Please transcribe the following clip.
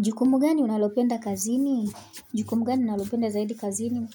Jukumu gani unalopenda kazini? Jukumu gani unalopenda zaidi kazini?